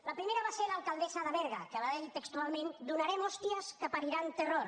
la primera va ser l’alcaldessa de berga que va dir textualment donarem hòsties que pariran terror